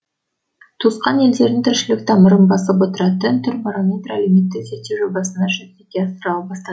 туысқан елдердің тіршілік тамырын басып отыратын түркбарометр әлеуметтік зерттеу жобасы жүзеге асырыла бастады